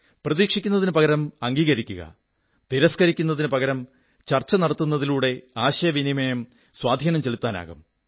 പ്രതീക്ഷിക്കുന്നതിനു പകരം അംഗീകരിക്കുക തിരസ്കരിക്കുന്നതിനു പകരം ചർച്ച നടത്തുന്നതിലൂടെ ആശയവിനിമയം സ്വാധീനം ചെലുത്തുന്നതാകും